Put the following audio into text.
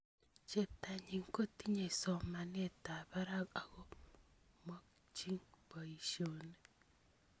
Cheptonyi kotinyei somanetab barak akomokochi boisioni